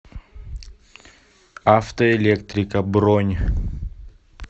автоэлектрика бронь